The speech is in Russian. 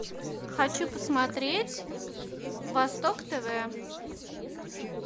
хочу посмотреть восток тв